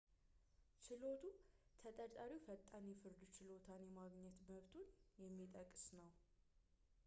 ችሎቱ ተጠርጣሪው ፈጣን የፍርድ ችሎታን የማግኘት መብቱን የሚጠቅስ ነው